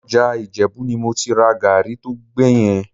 Ọjà Ìjẹ̀bú ni mo ti ra gàárì tó gbẹ yẹn